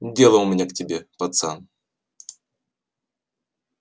дело у меня к тебе пацан